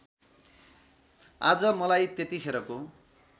आज मलाई त्यतिखेरको